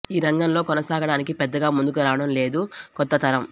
ఈ రంగంలో కొనసాగడానికి పెద్దగా ముందుకు రావడం లేదు కొత్త తరం